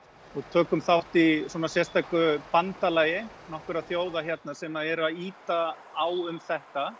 við tökum þátt í bandalagi nokkurra þjóða hérna sem er að ýta á um þetta